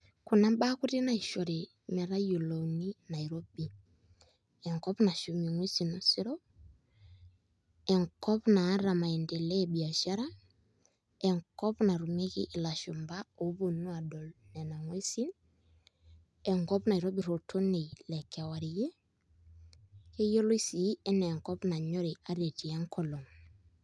Kuna mbaa kuti naishoru metayiolouni nairobi enkop nashum nguesin osero enkop naata maendeleo e biashara enkop natumieki ilashumba ooponu aadol nena nguesin enkop naitobirr oltoniei lekewarie keyioloi sii enaa enkop nanyori ata etii enkolong'.